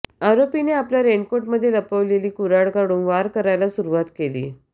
आरोपीने आपल्या रेनकोटमध्ये लपवलेली कुऱ्हाड काढून वार करायला सुरुवात केली